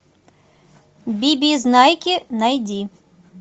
бибизнайки найди